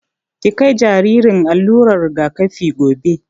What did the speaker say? Ki kai jaririn allular rigakafi gobe!